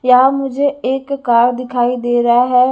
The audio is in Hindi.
यहां मुझे एक कार दिखाई दे रहा है।